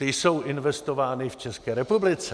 Ty jsou investovány v České republice.